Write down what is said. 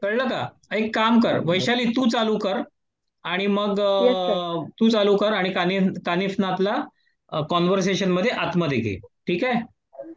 कळलं का एक काम कर वैशाली तू चालू कर आणि मग कानिफनाथला कान्वरसेशन मध्ये आतमध्ये घे. ठीक हाय